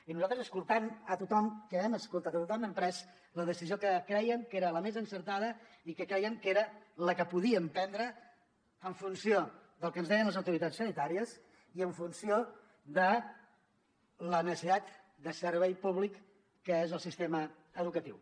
i nosaltres escoltem a tothom que hem escoltat a tothom hem pres la decisió que crèiem que era la més encertada i que crèiem que era la que podíem prendre en funció del que ens deien les autoritats sanitàries i en funció de la necessitat de servei públic que és el sistema educatiu